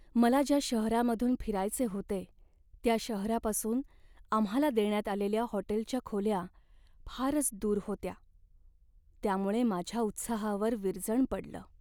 मला ज्या शहरामधून फिरायचे होते त्या शहरापासून आम्हाला देण्यात आलेल्या हॉटेलच्या खोल्या फारच दूर होत्या, त्यामुळे माझ्या उत्साहावर विरजण पडलं.